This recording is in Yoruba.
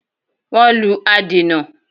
Wọ́n lù adènà